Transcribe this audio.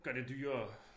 Gør det dyrere